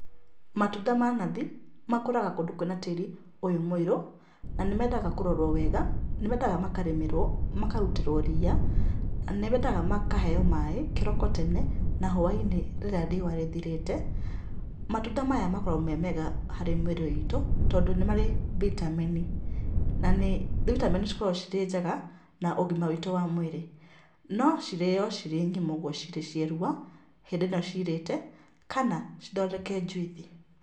Matunda ma nathi makũraga kũndũ kwĩ na tĩĩri ũyũ mũirũ, na nĩ mendaga kũrorwo wega ,nĩ mendaga makarĩmĩrwo, makarutĩrwo ria, nĩ mendaga makaheo maĩ kĩroko tene, na hwai-inĩ rĩrĩa riũwa rĩthirĩte. Matunda maya makoragũo me mega harĩ mwĩrĩ itũ tondũ nĩ marĩ vitamin i na nĩ vitamini cikoragũo cirĩ njega, na ũgima witũ wa mwĩrĩ. No cirĩo cirĩ ng'ima ũguo cirĩ cierua, hĩndĩ ĩno ciirĩte, kana cithondeke njuithi.